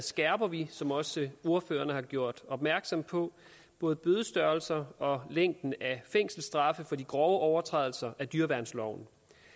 skærper vi som også ordførerne har gjort opmærksom på både bødestørrelser og længden af fængselsstraffe for de grove overtrædelser af dyreværnsloven